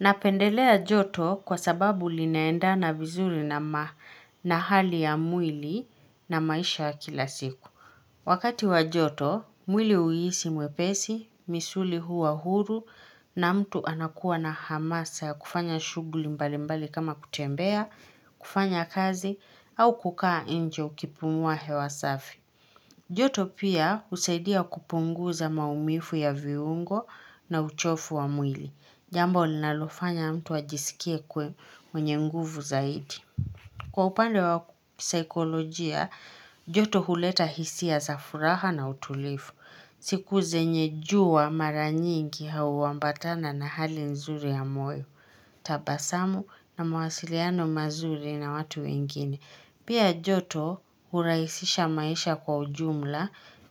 Napendelea joto kwa sababu linaendana vizuri na hali ya mwili na maisha ya kila siku. Wakati wa joto, mwili huhisi mwepesi, misuli huwa huru na mtu anakuwa na hamasa kufanya shughuli mbali mbali kama kutembea, kufanya kazi au kukaa nje ukipumua hewa safi. Joto pia husaidia kupunguza maumivu ya viungo na uchofu wa mwili. Jambo linalofanya mtu ajisikie kwe mwenye nguvu zaidi. Kwa upande wa sikolojia, joto huleta hisia za furaha na utulivu. Siku zenye jua mara nyingi hauambatana na hali nzuri ya moyo, tabasamu na mawasiliano mazuri na watu wengine. Pia joto hurahisisha maisha kwa ujumla